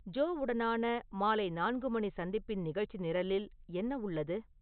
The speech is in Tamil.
ஜோ உடனான மாலை நான்கு மணி சந்திப்பின் நிகழ்ச்சி நிரலில் என்ன உள்ளது